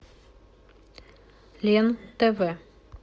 лен тв